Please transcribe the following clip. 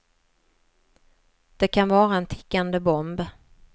Det kan vara en tickande bomb.